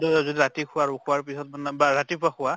ৰাতি খোৱাৰ পিছত বা ৰাতিপুৱা খোৱা